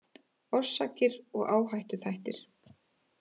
Orsakir og áhættuþættir